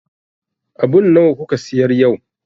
Abun nawa kuka siyar yau?